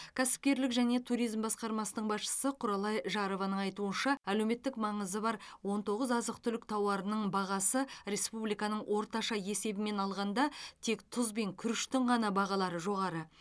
кәсіпкерлік және туризм басқармасының басшысы құралай жарованың айтуынша әлеуметтік маңызы бар он тоғыз азық түлік тауарының бағасы республиканың орташа есебімен алғанда тек тұз бен күріштің ғана бағалары жоғары